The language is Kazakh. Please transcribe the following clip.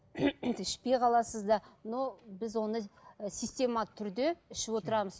ішпей қаласыз да но біз оны система түрде ішіп отырамыз